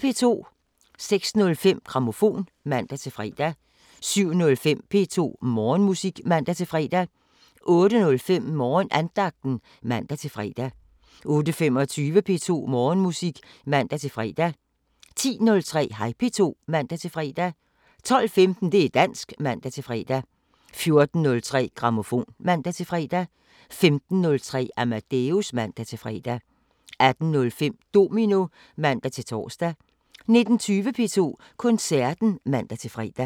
06:05: Grammofon (man-fre) 07:05: P2 Morgenmusik (man-fre) 08:05: Morgenandagten (man-fre) 08:25: P2 Morgenmusik (man-fre) 10:03: Hej P2 (man-fre) 12:15: Det´ dansk (man-fre) 14:03: Grammofon (man-fre) 15:03: Amadeus (man-fre) 18:05: Domino (man-tor) 19:20: P2 Koncerten (man-fre)